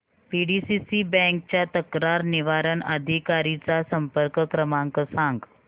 PDCC bank च्या तक्रार निवारण अधिकारी चा संपर्क क्रमांक सांग